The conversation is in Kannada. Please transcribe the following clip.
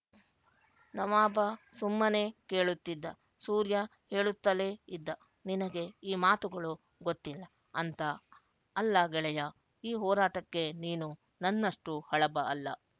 ನವಾಬ ಸುಮ್ಮನೆ ಕೇಳುತ್ತಿದ್ದ ಸೂರ್ಯ ಹೇಳುತ್ತಲೇ ಇದ್ದ ನಿನಗೆ ಈ ಮಾತುಗಳು ಗೊತ್ತಿಲ್ಲ ಅಂತ ಅಲ್ಲ ಗೆಳೆಯ ಈ ಹೋರಾಟಕ್ಕೆ ನೀನು ನನ್ನಷ್ಟು ಹಳಬ ಅಲ್ಲ